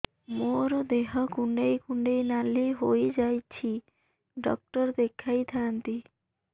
ମୋର ଦେହ କୁଣ୍ଡେଇ କୁଣ୍ଡେଇ ନାଲି ହୋଇଯାଉଛି ଡକ୍ଟର ଦେଖାଇ ଥାଆନ୍ତି